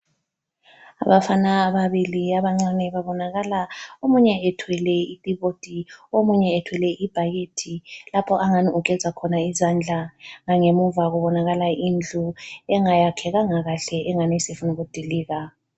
Abafana ababili abancane babonakala omunye ethwele itipoti omunye ethwele ibhakede lapho angani ugeza khona izandla. Langemuva kubonakala indlu engayakhekanga kahle engani isifuna ukudilika.